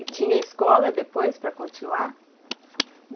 E tinha escola depois para continuar?